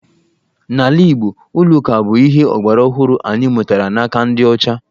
N'ala Igbo, ụlọ ụka bụ ihe ọgbaraọhụrụ anyị mụtara n'aka ndị ọcha